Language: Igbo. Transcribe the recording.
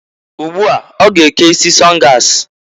Ugbu a, ọ ga eke isi sọngas.